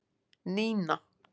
Nína